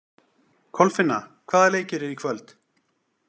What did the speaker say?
Kolfinna, hvaða leikir eru í kvöld?